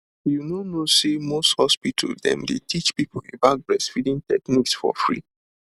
you know know say most hospital dem dey teach people about breastfeeding techniques for free